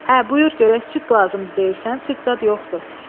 Hə, buyur görək, süd lazımdır deyirsən, süd zad yoxdur.